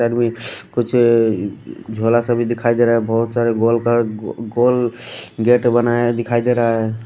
Side में कुछ झोला सा भी दिखाई दे रहा है बहुत सारे गोल का गोल गेट बनाए दिखाई दे रहा है।